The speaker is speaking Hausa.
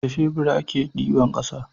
da shebur a ke diba ƙasa